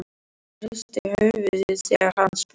Hún hristir höfuðið þegar hann spyr.